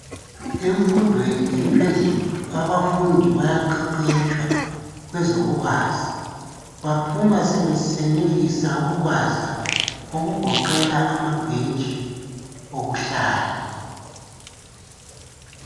Emfundweni ephezulu abafundi bayaqeqetshwa kwezokubaza, baphuma sebesenelisa ukubaza ukugoqela ama bhentshi okuhlala.